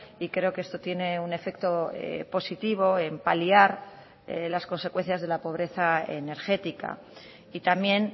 y creo que esto tiene un efecto positivo en paliar las consecuencias de la pobreza energética y también